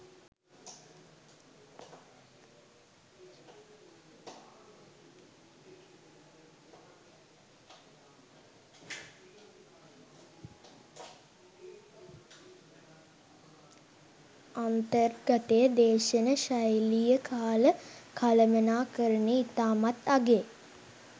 අන්තර්ගතය දේශන ශෛලිය කාල කළමනාකරණය ඉතාමත් අගෙයි